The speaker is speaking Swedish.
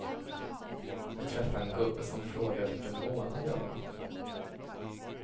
Jag träffade en gubbe som frågade vilken månad jag var.